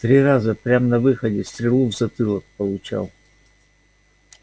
три раза прям на выходе стрелу в затылок получал